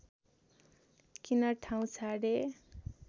किन ठाउँ छाडे